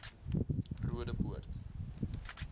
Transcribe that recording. roodepoort